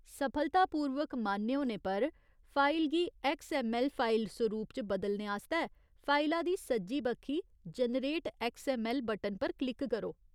सफलतापूर्वक मान्य होने पर, फाइल गी ऐक्सऐम्मऐल्ल फाइल सरूप च बदलने आस्तै फाइला दी सज्जी बक्खी 'जनरेट ऐक्सऐम्मऐल्ल' बटन पर क्लिक करो।